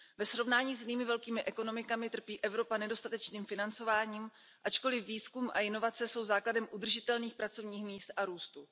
Ve srovnání s jinými velkými ekonomikami trpí Evropa nedostatečným financováním, ačkoliv výzkum a inovace jsou základem udržitelných pracovních míst a růstu.